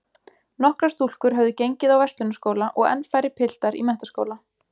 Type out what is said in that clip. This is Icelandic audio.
Nokkrar stúlkur höfðu gengið á Verslunarskóla og enn færri piltar í menntaskóla.